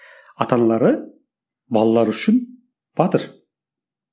ата аналары балалары үшін батыр